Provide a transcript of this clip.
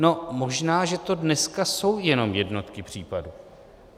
No, možná že to dneska jsou jenom jednotky případů.